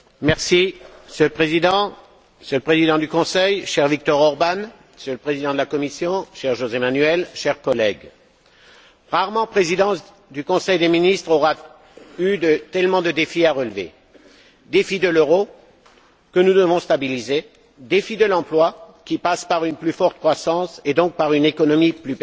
Monsieur le Président, Monsieur le Président du Conseil, cher Viktor Orbán, Monsieur le Président de la Commission, cher José Manuel, chers collègues, rarement Présidence du Conseil des ministres aura eu tant de défis à relever défi de l'euro, que nous devons stabiliser, défi de l'emploi, qui passe par une plus forte croissance et donc par une économie plus performante,